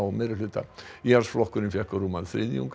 meirihluta íhaldsflokkurinn fékk rúman þriðjung